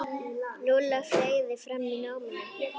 Lúlla fleygði fram í náminu.